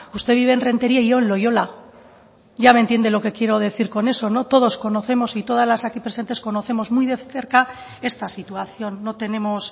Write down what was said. usted vive en rentería y yo en loiola ya me entiende lo que quiero decir con eso todos y todas las aquí presentes conocemos muy de cerca esta situación no tenemos